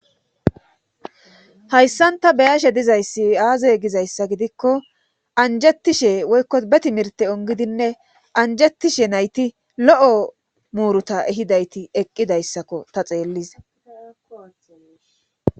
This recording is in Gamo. hayssan ta beyashe dizayssi aazey gizayssa gidikko anjettishe woykko beti mirte ongidinne anjettishe nayti lo7o muuruta ehidayti eqqidayssakko ta xeelliza